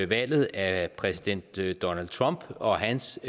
valget af præsident donald trump og hans